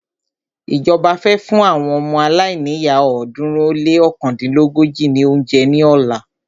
Ìjọba fẹ́ fún àwọn ọmọ aláìníyá ọ̀ọ́dúnrún ó lé ọ̀kándínlógójì ní óúnjẹ ní ọ̀la.